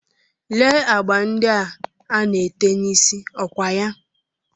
Lee agba ndị a ana-ete n'isí, ọ kwa ya?